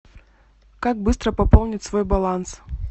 как быстро пополнить свой баланс